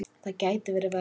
Það gæti verið verra.